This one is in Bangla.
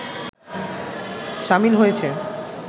সামিল হয়েছে